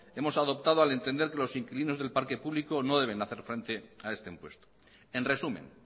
hemos adoptado al entender que los inquilinos del parque público no deben hacer frente a este impuesto en resumen